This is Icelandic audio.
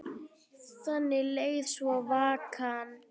Þannig leið svo vikan.